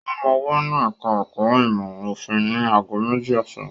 Ó máa wà ní ẹ̀ka-ẹ̀kọ́ ìmọ̀-òfin ní ago méjì ọ̀sán.